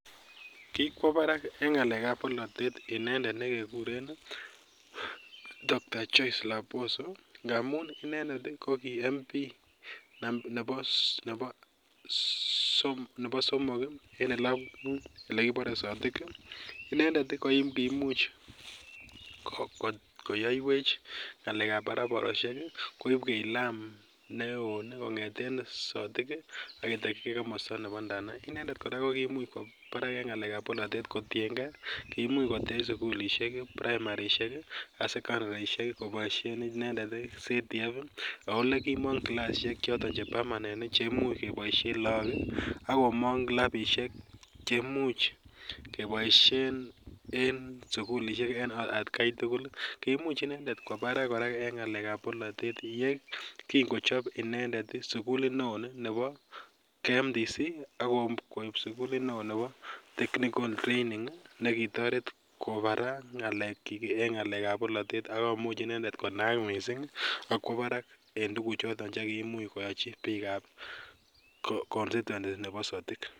Kikwo barak eng ngalekab bolatet inendet nekeguren docta Joyce Laboso ngamun inendet ko ki mp nebo somok eng elekibare Sotik, inendet ko koimuch koyaiwech ngalekab barabaroshek, koibwech lam neo kongeten Sotik aketakyi ken komasta nebo ndanai, inendet kora koimuch kwo barak eng ngalekab bolatet kotyenke koimuch kowech sukulishek primarishek, ak secondarishek